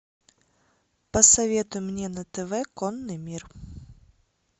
посоветуй мне на тв конный мир